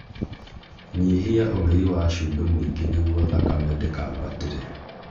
Nyihia ũrĩi wa cumbĩ mũingĩ nĩguo thakame ndikabatire